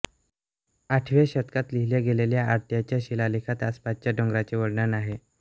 आठव्या शतकात लिहिल्या गेलेल्या आळत्याच्या शिलालेखात आसपासच्या डोंगराचे वर्णन आहे